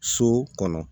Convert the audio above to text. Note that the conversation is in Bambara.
So kɔnɔ